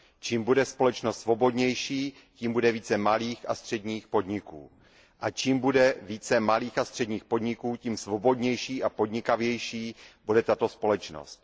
Čím bude společnost svobodnější, tím bude více malých a středních podniků a čím bude více malých a středních podniků, tím svobodnější a podnikavější bude tato společnost.